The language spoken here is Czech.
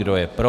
Kdo je pro?